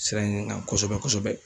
Sira in kan kosɛbɛ kosɛbɛ.